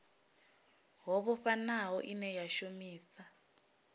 ho vhofhanaho ine a shumisa